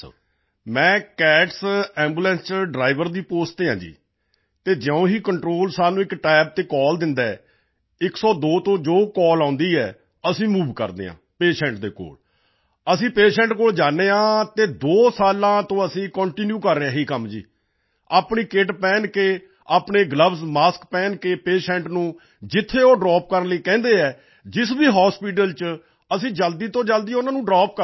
ਮੈਂ CATS ambulance ਵਿੱਚ driver ਦੀ ਪੋਸਟ ਤੇ ਹਾਂ ਅਤੇ ਜਿਉਂ ਹੀ ਕੰਟਰੋਲ ਸਾਨੂੰ ਇੱਕ ਤਬ ਤੇ ਕਾਲ ਦਿੰਦਾ ਹੈ 102 ਤੋਂ ਜੋ ਕਾਲ ਆਉਂਦੀ ਹੈ ਅਸੀਂ ਮੂਵ ਕਰਦੇ ਹਾਂ ਪੇਸ਼ੈਂਟ ਦੇ ਕੋਲ ਅਸੀਂ ਪੇਸ਼ੈਂਟ ਕੋਲ ਜਾਂਦੇ ਹਾਂ ਅਤੇ ਦੋ ਸਾਲਾਂ ਤੋਂ ਅਸੀਂ ਕੰਟੀਨਿਊ ਕਰ ਰਹੇ ਹਾਂ ਇਹ ਕੰਮ ਆਪਣੀ ਕਿਟ ਪਹਿਨ ਕੇ ਆਪਣੇ ਗਲੋਵਜ਼ ਮਾਸਕ ਪਹਿਨ ਕੇ ਪੇਸ਼ੈਂਟ ਨੂੰ ਜਿੱਥੇ ਉਹ ਡਰੌਪ ਕਰਨ ਲਈ ਕਹਿੰਦੇ ਹਨ ਜਿਸ ਵੀ ਹਾਸਪਿਟਲ ਵਿੱਚ ਅਸੀਂ ਜਲਦੀ ਤੋਂ ਜਲਦੀ ਉਨ੍ਹਾਂ ਨੂੰ ਡਰੌਪ ਕਰਦੇ ਹਾਂ